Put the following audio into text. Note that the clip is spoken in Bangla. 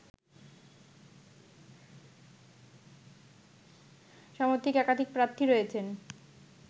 সমর্থিত একাধিক প্রার্থী রয়েছেন